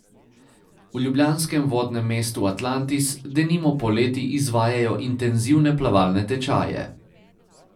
V ljubljanskem vodnem mestu Atlantis denimo poleti izvajajo intenzivne plavalne tečaje.